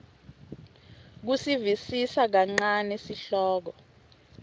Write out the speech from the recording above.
kusivisisa kancane sihloko